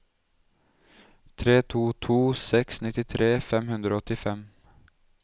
tre to to seks nittitre fem hundre og åttifem